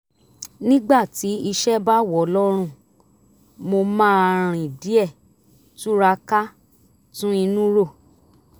nígbà tí iṣẹ́ bá wọ̀ lọ́rùn mo máa rìn díẹ̀ túra ká tún inú rò